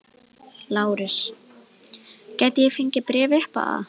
LÁRUS: Gæti ég fengið bréf upp á það?